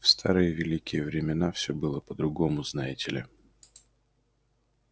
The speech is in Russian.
в старые великие времена всё было по-другому знаете ли